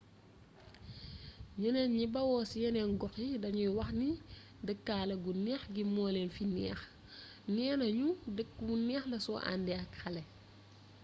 ñeneen ñi bawoo ci yeneen gox yi dañuy wax ni dëkkaale gu neex gi moo leen fi neex neena ñu dëkk bu neex la soo àndee ak ay xale